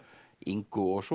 Ingu og svo